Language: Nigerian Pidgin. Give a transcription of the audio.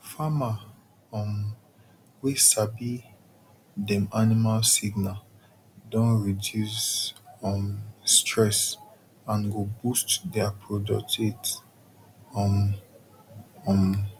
farmer um wey sabi dem animal signal don reduce um stress and go boost their product um um